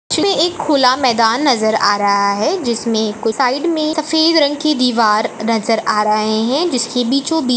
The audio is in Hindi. में एक खुला मैदान नजर आ रहा है जिसमें साइड में सफ़ेद रंग की दीवार नजर आ रहे है जिसके बीचों-बीच-- ।